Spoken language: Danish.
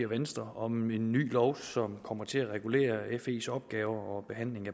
venstre om en ny lov som kommer til at regulere fes opgaver og behandling af